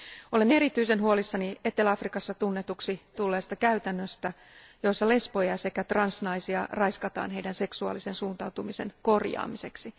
Olen erityisen huolissani Etelä Afrikassa tunnetuksi tulleesta käytännöstä, jossa lesboja sekä transnaisia raiskataan heidän seksuaalisen suuntautumisensa korjaamiseksi.